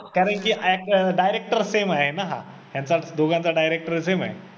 का माहिती आहे, act director same आहे ना हा ह्यांचा दोघांचा director same आहे